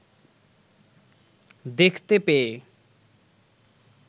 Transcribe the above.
দেখতে পেয়ে